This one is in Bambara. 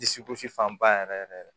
Dusugosi fanba yɛrɛ yɛrɛ yɛrɛ